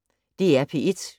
DR P1